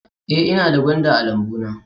Ee, ina da gwanda a lambuna